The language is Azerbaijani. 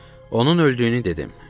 Onun öldüyünü dedim.